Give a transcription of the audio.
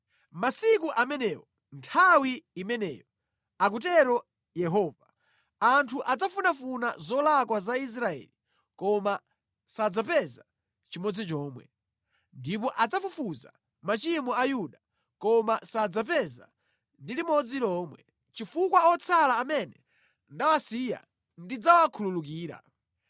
Masiku amenewo, nthawi imeneyo,” akutero Yehova, “anthu adzafunafuna zolakwa za Israeli koma sadzapeza nʼchimodzi chomwe, ndipo adzafufuza machimo a Yuda, koma sadzapeza ndi limodzi lomwe, chifukwa otsala amene ndawasiya ndidzawakhululukira.